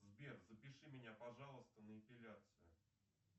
сбер запиши меня пожалуйста на эпиляцию